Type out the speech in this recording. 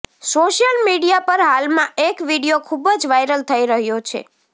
social media પર હાલમાં એક વીડિયો ખુબજ વાયરલ થઈ રહ્યો છે